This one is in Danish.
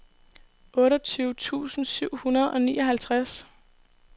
otteogtyve tusind syv hundrede og nioghalvtreds